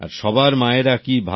আর সবার মায়েরা কি ভাবেন